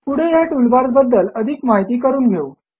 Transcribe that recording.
पुढे ह्या टूलबार्स बद्धल अधिक माहिती करून घेऊ